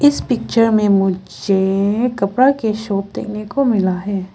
इस पिक्चर में मुझे-ए-ए कपड़ा के शॉप देखने को मिला है।